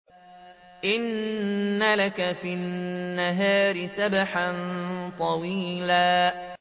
إِنَّ لَكَ فِي النَّهَارِ سَبْحًا طَوِيلًا